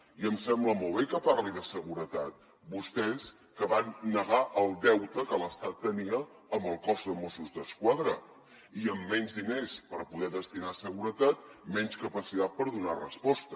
i em sembla molt bé que parli de seguretat vostès que van negar el deute que l’estat tenia amb el cos de mossos d’esquadra i amb menys diners per poder destinar a seguretat menys capacitat per donar resposta